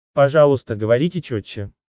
пожалуйста говорите чётче